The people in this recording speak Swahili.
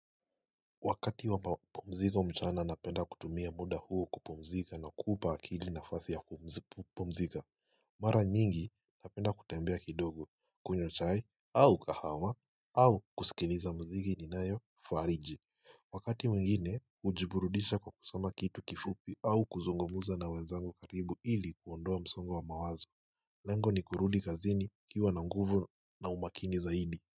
Wakati wa mapumzika mchana napenda kutumia muda huo kupumzika na kuupa akili nafasi ya kupumzika Mara nyingi napenda kutembea kidogo kunywa chai au kahawa au kusikiliza muziki ninayo fariji Wakati mwingine hujiburudisha kwa kusama kitu kifupi au kuzungumza na wenzangu karibu ili kuondoa msongo wa mawazo Lengo ni kurudi kazini nikiwa na nguvu na umakini zaidi.